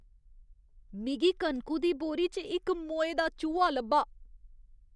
मिगी कनकु दी बोरी च इक मोए दा चूहा लब्भा।